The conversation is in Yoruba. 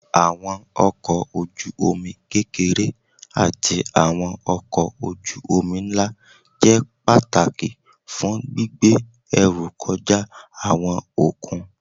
Àwọn ọkọ̀ ojú omi kékeré ati àwọn ọkọ̀ ojú omi ńlá jẹ́ pàtàkì fún gbígbé ẹrú kọjá àwọn okùn